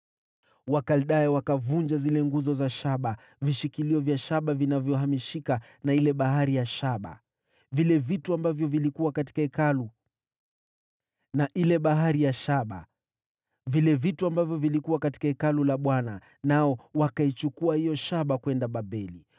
Wakaldayo walivunja vipande zile nguzo za shaba, vile vishikilio vya shaba vilivyohamishika, na ile Bahari ya shaba, ambavyo vyote vilikuwa katika Hekalu la Bwana . Hivyo wakaichukua hiyo shaba na kuipeleka Babeli.